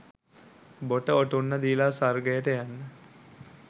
බොට ඔටුන්න දීල ස්වර්ගයට යන්න.